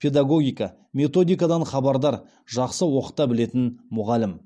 педагогика методикадан хабардар жақсы оқыта білетін мұғалім